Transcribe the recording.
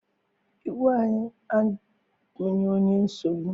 Igwe anyị abụghị onye nsogbu.